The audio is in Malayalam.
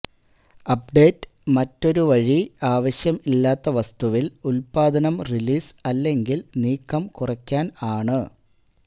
അപ്ഡേറ്റ് മറ്റൊരു വഴി ആവശ്യം ഇല്ലാത്ത വസ്തുവിൽ ഉല്പാദനം റിലീസ് അല്ലെങ്കിൽ നീക്കം കുറയ്ക്കാൻ ആണ്